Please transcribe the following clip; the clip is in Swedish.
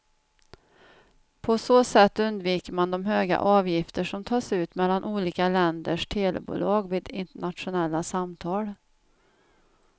På så sätt undviker man de höga avgifter som tas ut mellan olika länders telebolag vid internationella samtal.